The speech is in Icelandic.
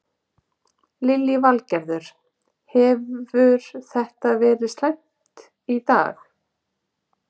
Lillý Valgerður: Hefur þetta verið slæmt í dag?